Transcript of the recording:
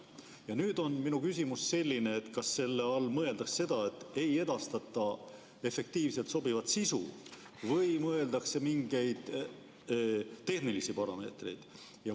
Ja minu küsimus on selline: kas selle all mõeldakse seda, et ei edastata efektiivset ja sobivat sisu või mõeldakse mingeid tehnilisi parameetreid?